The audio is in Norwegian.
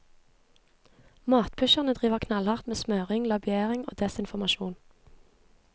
Matpusherne driver knallhardt med smøring, lobbyering og desinformasjon.